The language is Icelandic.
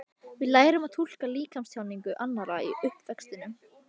Við lærum að túlka líkamstjáningu annarra í uppvextinum.